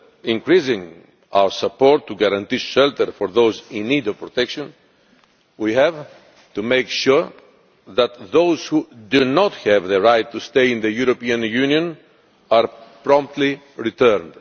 with increasing our support to guarantee shelter for those in need of protection, we have to make sure that those who do not have the right to stay in the European Union are promptly returned.